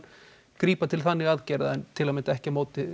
grípa til þannig aðgerða en ekki